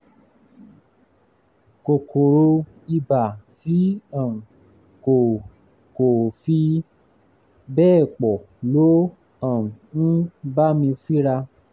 kòkòrò ibà tí um kò kò fi bẹ́ẹ̀ pọ̀ ló um ń um bá mi fínra